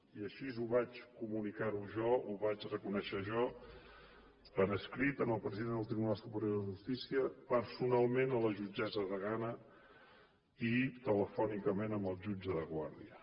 i així ho vaig comunicar jo ho vaig reconèixer jo per escrit al president del tribunal superior de justícia personalment a la jutgessa degana i telefònicament al jutge de guàrdia